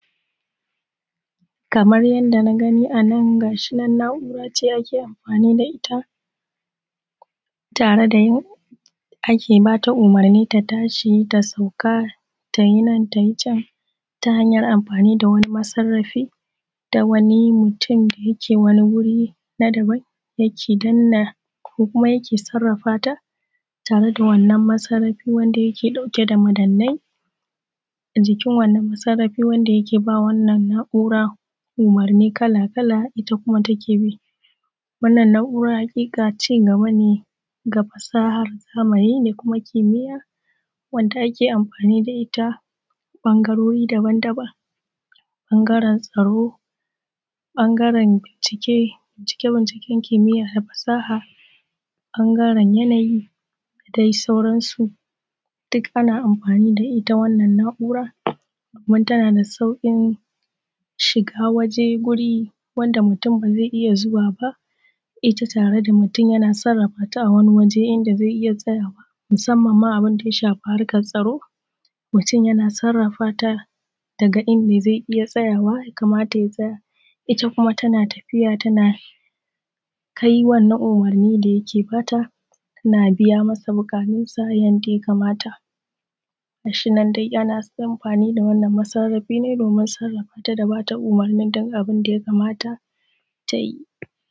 Kamar yadda na gani anan ga shinan na na'ura ce ake amfani da itta tare da tare da yadda ake amfani da itta ta tashi ta sauka, tayi nan tayi can ta hanyan amfani da wani masarrafi da wani mutun da yake a wani wuri na daban yake danna ko kuma yake sarrafata tare da wannan masarrafi wanda yake ɗauke da madannai a jikin wannan masarrafi wanda yake bama wannan masarrafi umurni kala kala itta kuma take bi. Wannan na'ura haƙiƙa cigaba ne na fasahar zamani da kuma kimiya wanda ake amfani da itta a ɓangarori daban daban. ɓangaren tsarin ɓangaren bincike bincike bincike kimiya da fasaha, ɓangaren yanayi da dai sauran su. Ana amfani da itta wannan na'ura kuma ta nada sauƙin shiga waje, wuri wanda mutun bazai iyya zuwa ba itta tare da mutun yana sarrafata a Wani waje inda zai iyya tsayawa musamman abunda ya shafi harkan tsaro. Mutun yana sarrafata daga inda zai iyya tsayawa ita kuma tana tafiya tana kai wannan umurni da yake bata, tana biya masa bukatun sa yanda ya kamata ga shinan dai ana amfani da wannan masarrafi dai domin sarrafata da bata umurni daya kamata tayi.